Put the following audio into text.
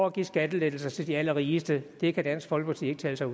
at give skattelettelser til de allerrigeste det kan dansk folkeparti ikke tale sig